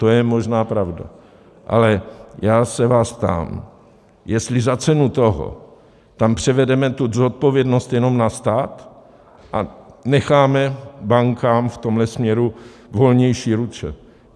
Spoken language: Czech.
To je možná pravda, ale já se vás ptám, jestli za cenu toho tam převedeme tu zodpovědnost jenom na stát a necháme bankám v tomhle směru volnější ruce?